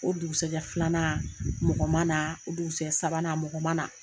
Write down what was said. O dugusajɛ filanan mɔgɔ ma na o dugusajɛ sabanan mɔgɔ ma na